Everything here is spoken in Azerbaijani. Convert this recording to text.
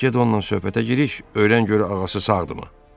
Get onnan söhbətə giriş, öyrən gör ağası sağdımı?